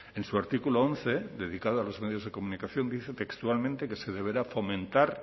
en su artículo once dedicado a los medios de comunicación dice textualmente que se deberá fomentar